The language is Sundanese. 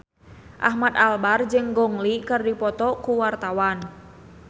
Ahmad Albar jeung Gong Li keur dipoto ku wartawan